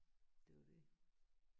Det er jo det